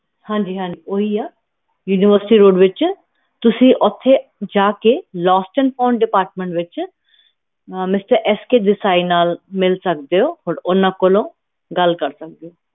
ਹਾਂਜੀ ਹਾਂਜੀ ਓਹੀ ਆ universityroad ਤੁਸੀਂ ਓਥੇ ਜਾ ਕੇ lostandfounddepartment ਵਿਚ Mr. SKDesai ਨਾਲ ਮਿਲ ਸਕਦੇ ਊ ਔਰ ਓਹਨਾ ਕੋਲੋਂ ਗੱਲ ਕਰ ਸਕਦੇ ਊ